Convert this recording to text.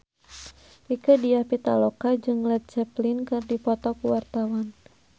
Rieke Diah Pitaloka jeung Led Zeppelin keur dipoto ku wartawan